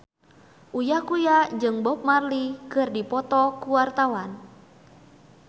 Uya Kuya jeung Bob Marley keur dipoto ku wartawan